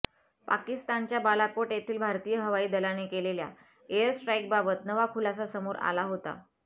पाकिस्तानच्या बालाकोट येथे भारतीय हवाई दलाने केलेल्या एअर स्ट्राईकबाबत नवा खुलासा समोर आला होता